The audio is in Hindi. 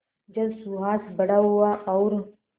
जब सुहास बड़ा हुआ और